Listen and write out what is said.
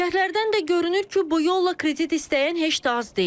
Şərhlərdən də görünür ki, bu yolla kredit istəyən heç də az deyil.